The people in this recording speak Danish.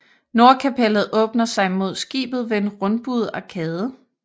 Nordkapellet åbner sig mod skibet ved en rundbuet arkade